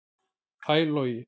Hæ Logi